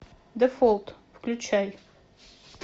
дефолт включай